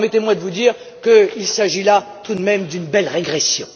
Permettez moi de vous dire qu'il s'agit là, tout de même, d'une belle régression.